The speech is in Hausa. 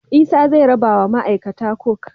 Isa ze rabawa ma aikata mafi kwazo coke